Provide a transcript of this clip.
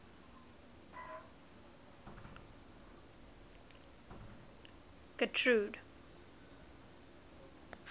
getrude